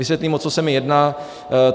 Vysvětlím, o co se mi jedná.